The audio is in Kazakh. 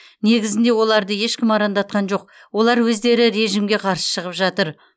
негізінде оларды ешкім арандатқан жоқ олар өздері режімге қарсы шығып жатыр